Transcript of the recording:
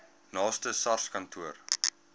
naaste sars kantoor